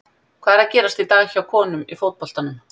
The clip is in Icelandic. Hvað er að gerast í dag hjá honum í fótboltanum?